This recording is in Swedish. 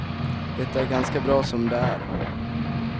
Det är ganska bra som det är.